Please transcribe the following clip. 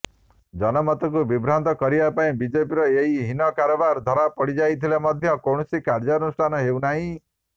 ଜନମତକୁ ବିଭ୍ରାନ୍ତ କରିବା ପାଇଁ ବିଜେପିର ଏହି ହୀନ କାରବାର ଧରାପଡ଼ିଯାଇଥିଲେ ମଧ୍ୟ କୌଣସି କାର୍ଯ୍ୟାନୁଷ୍ଠାନ ହେଉନାହିଁ